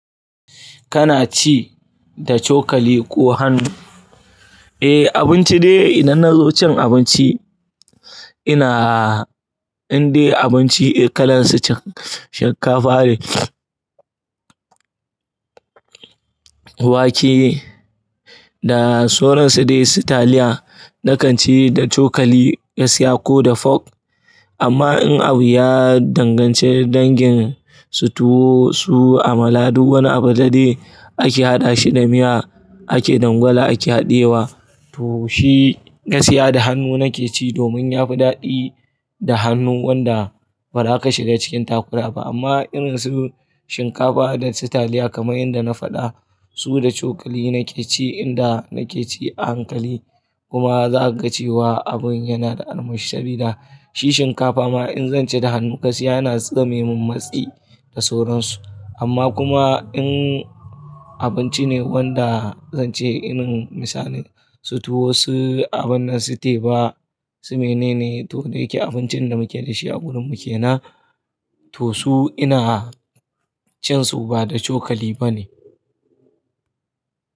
Kana ci da cokali ko hannu? Eh, abinci dai idan na zo cin abinci, ina indai abinci kalan su shinkafa ne, wake da sauran su dai su taliya, nakan ci da cokali, gaskiya ko da folk. Amma in abu ya danganci dangin su tuwo su amala duk wani abu da dai ake haɗa shi da miya, ake dangwala ake haɗiyewa, to shi gasiya da hannu nake ci domin yafi daɗi da hannu wanda ba za ka shiga cikin takura ba. Amma irin su shinkafa da su taliya kamar yanda na faɗa, su da cokali nake ci inda nake ci a hankali. Kuma za ka ga cewa abun yana da armashi sabida shi shinkafa ma in zan ci da hannu gaskiya yana zamemin matsi da sauran su. Amma kuma in abinci ne wanda zan ci irin misali su tuwo, su abun nan su teba su mene ne to da ya ke abincin da muke da shi a gurin mu kenan, to su ina cin su ba da cokali ba ne.